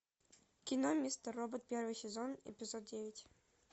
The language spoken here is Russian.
кино мистер робот первый сезон эпизод девять